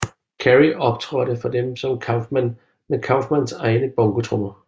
Carrey optrådte for dem som Kaufman med Kaufmans egne bongotrommer